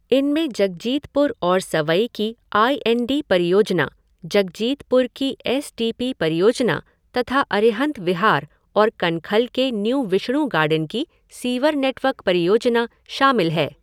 इनमें जगजीतपुर और सवई की आई एंड डी परियोजना, जगजीतपुर की एस टी पी परियोजना तथा अरिहंत विहार और कनखल के न्यू विष्णु गार्डन की सीवर नेटवर्क परियोजना शामिल है।